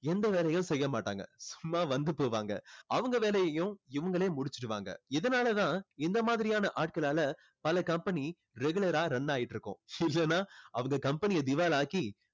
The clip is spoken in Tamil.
எந்த வேலையும் செய்ய மாட்டாங்க சும்மா வந்து போவாங்க அவங்க வேலையையும் இவங்களே முடிச்சிடுவாங்க இதனால தான் இந்த மாதிரியான ஆட்களால பல company regular ஆ run ஆகிட்டு இருக்கும் இல்லைன்னா அவங்க company அ திவால் ஆக்கி